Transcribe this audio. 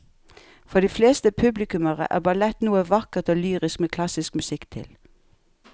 For de fleste publikummere er ballett noe vakkert og lyrisk med klassisk musikk til.